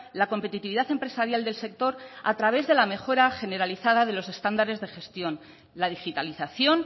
la competitividad empresarial del sector a través de la mejora generalizada de los estándares de gestión la digitalización